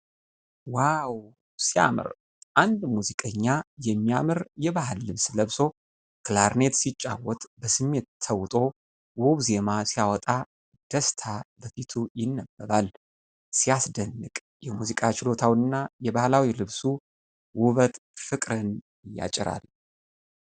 ዋው ሲያምር! አንድ ሙዚቀኛ የሚያማምር የባህል ልብስ ለብሶ ክላርኔት ሲጫወት በስሜት ተውጦ ውብ ዜማ ሲያወጣ ደስታ በፊቱ ይነበባል። ሲያስደንቅ የሙዚቃ ችሎታው እና የባህላዊው ልብሱ ውበት ፍቅርን ያጭራል።